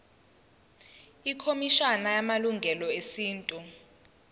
ikhomishana yamalungelo esintu